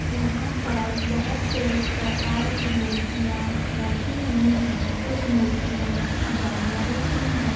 यहाँ पर बहुत से प्रकार की मूर्तिया रखी हुई है कुछ मूर्तिया जानवरो की है।